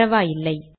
பரவாயில்லை